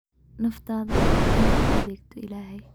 Naftaada u hur inaad u adeegto Ilaahay.